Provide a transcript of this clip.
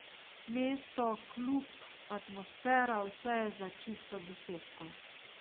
Mesto, klub, atmosfera, vse je za čisto desetko.